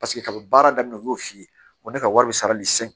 Paseke kaban baara daminɛ u y'o f'i ye o ne ka wari bɛ sarali se